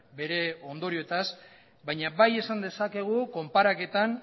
bere ondorioetaz baina bai esan dezakegu konparaketan